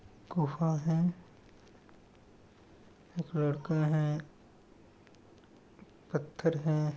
गुफा है एक लड़का है पत्थर है।